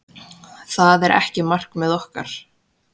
Það er ekki markmið okkar.